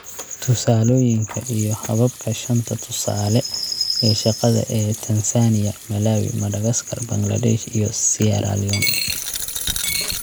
Tusaalooyinka iyo hababka shanta tusaale ee shaqada ee Tansaaniya, Malawi, Madagascar, Bangladesh, iyo Sierra Leone.